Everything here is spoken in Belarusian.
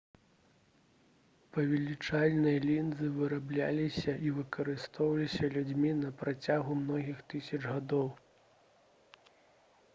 павелічальныя лінзы вырабляліся і выкарыстоўваліся людзьмі на працягу многіх тысяч гадоў